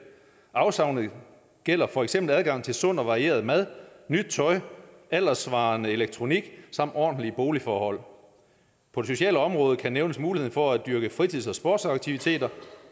afsavnet gælder for eksempel adgang til sund og varieret mad nyt tøj alderssvarende elektronik samt ordentlige boligforhold på det sociale område kan nævnes muligheden for at dyrke fritids og sportsaktiviteter